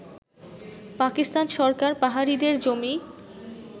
পাকিস্তান সরকার পাহাড়িদের জমি